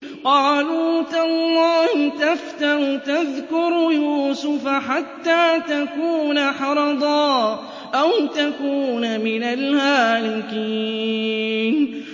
قَالُوا تَاللَّهِ تَفْتَأُ تَذْكُرُ يُوسُفَ حَتَّىٰ تَكُونَ حَرَضًا أَوْ تَكُونَ مِنَ الْهَالِكِينَ